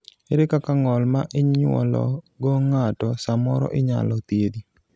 ere kaka ng'ol ma inyuolo go ng'ato samoro inyalo thiedhi?